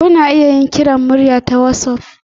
Kuna iya yin kiran murya ta wassaf.